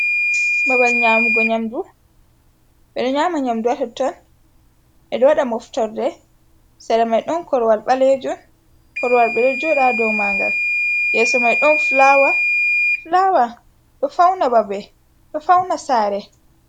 Babal nyamugo nyamdu, ɓedo nyama nyamdu hatonton e ɗo waɗa moftorde, sara mai ɗon korwal balejun, korwal ɓeɗo joda do mangal, yeso mai don fulawa. fulawa ɗo fauna babe ɗo fauna sare.